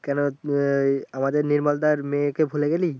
কেনো আহ আমাদের নির্মলদার মেয়েকে ভুলে গেলি